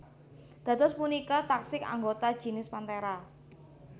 Dados punika taksih anggota jinis Panthera